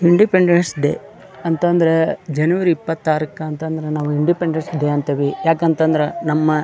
independence Day ಅಂತಂದ್ರೆ ಜನವರಿ ಇಪ್ಪತ್ತರಕ್ಕೆ ಅಂತಂದ್ರೆ ನಾವು ಇಂಡಿಪೆಂಡೆನ್ಸ್ ಡೇ ಅಂತೀವಿ ಯಾಕಂತ ಅಂದ್ರೆ ನಮ್ಮ --